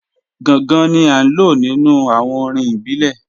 Gàngàn ni à lọ̀ nínu awọn orín ìbílẹ̀.